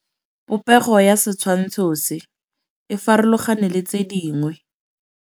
Popêgo ya setshwantshô se, e farologane le tse dingwe.